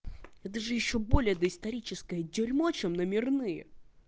я даже ещё более доисторическая дерьмо чем номерные